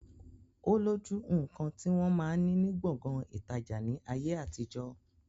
Ó lójú nkan ti wọn máa ni ní Gbọ̀ngán ìtajà ni ayé àtijọ́.